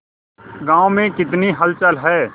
गांव में कितनी हलचल है